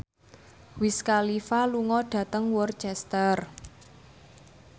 Wiz Khalifa lunga dhateng Worcester